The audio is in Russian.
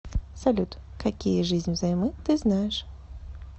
салют какие жизнь взаймы ты знаешь